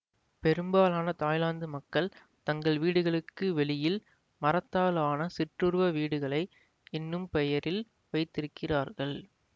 பெரும்பாலான தாய்லாந்து மக்கள் தங்கள் வீடுகளுக்கு வெளியில் மரத்தாலான சிற்றுருவ வீடுகளை என்னும் பெயரில் வைத்திருக்கிறார்கள்